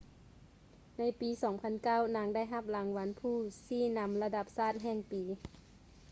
ໃນປີ 2009 ນາງໄດ້ຮັບລາງວັນຜູ້ຊີ້ນຳລະດັບຊາດແຫ່ງປີ